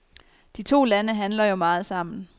De to lande handler jo meget sammen.